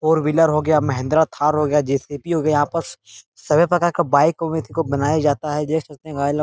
Four wheeler हो गया महिंद्रा थार हो गया जे.सी.बी. हो गया यहाँ पर स स सभी प्रकार का बाइक को भी एथी को बनाया जाता है देख सकते हैं भाई लोग।